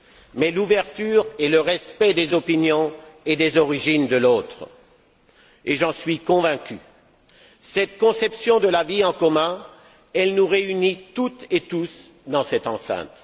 mais l'ouverture et le respect des opinions et des origines de l'autre. J'en suis convaincu cette conception de la vie en commun, elle nous réunit toutes et tous dans cette enceinte.